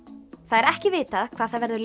það er ekki vitað hvað það verður